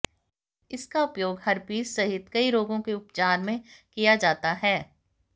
इसका उपयोग हर्पिस सहित कई रोगों के उपचार में किया जाता है